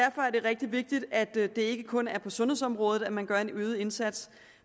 rigtig vigtigt at det ikke kun er på sundhedsområdet at man gør en øget indsats